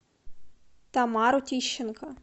тамару тищенко